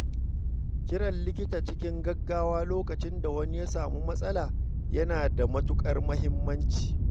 Kiran likita cikin gaggawa lokacin da wani ya sami matsala yana da matuƙar muhimmanci.